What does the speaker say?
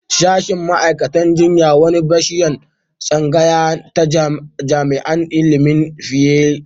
Sashen ma'aikatan jinya wani bishiyan tsangaya ta jami'an ilimin lafiya ne.